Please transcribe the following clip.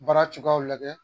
Baara cogoyaw lajɛ